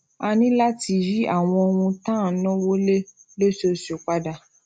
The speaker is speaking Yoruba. a ní láti yí àwọn ohun tá à ń náwó lé lóṣooṣù padà